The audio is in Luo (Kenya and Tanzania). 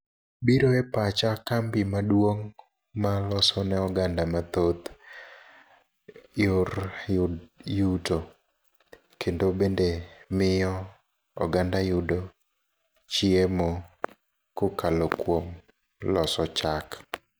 Biro e pacha kambi maduong' maloso ne oganda mathoth yor yuto. Kendo bende miyo oganda yudo chiemo kokalo kuom loso chak.